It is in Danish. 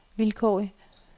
vilkårlig